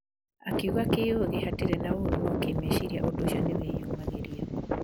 Akiuga kĩũgĩ hatirĩ ũru no kĩmeciria ũndũ ũcio nĩ wĩyumagĩria.